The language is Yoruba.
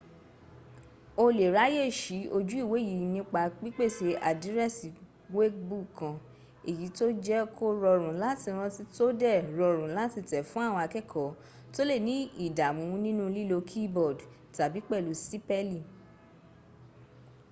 o lè ráyèsí ojú ìwé yìí nípa pípèsè àdírẹ́sì wkẹ̀bù kan èyí tó jẹ́ kó rọrùn láti rántí tó dẹ̀ rọrùn láti tẹ̀ fún àwọn akẹ́kọ̀ọ́ tó lé ní ìdàmú nínu lílo keyboard tàbí pẹ̀lú sípẹ̀lì